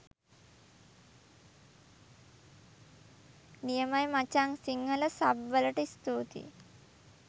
නියමයි මචං සිංහල සබ් වලට ස්තූතියි.